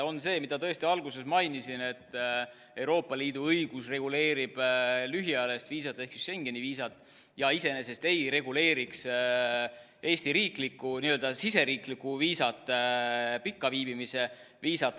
On see, mida alguses mainisin, et Euroopa Liidu õigus reguleerib lühiajalist viisat ehk Schengeni viisat ja iseenesest ei reguleeriks Eesti n-ö siseriiklikku viisat, pikaajalist viisat.